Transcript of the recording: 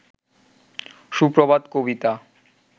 সুপ্রভাত কবিতা